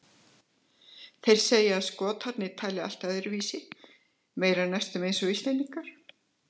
Þeir segja að Skotarnir tali allt öðruvísi, meira næstum eins og Íslendingar.